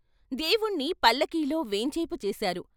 దేవుణ్ణి పల్లకీలో వేంచేపు చేశారు.